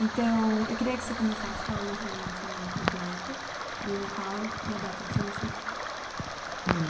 Então, eu queria que você começasse falando para mim o seu nome completo e o local e a data do seu nascimento. É...